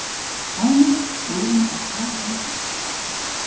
Dæmi: Guðrún á tvær dætur.